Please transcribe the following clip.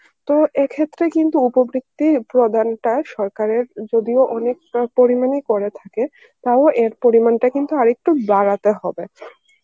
তো এ ক্ষেত্রে কিন্তু উপবৃদ্ধির প্রধানটা সরকারের যদিও অনেক পরিমানেই করে থাকে, টাও এর পরিমানটা কিন্তু অনেক বাড়াতে হবে